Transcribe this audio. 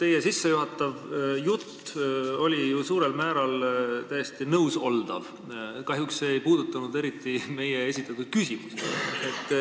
Teie sissejuhatava jutuga võib ju suurel määral nõus olla, aga kahjuks ei puudutanud see eriti meie esitatud küsimusi.